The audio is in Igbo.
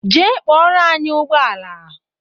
Jee kpọrọ anyị ụgbọala!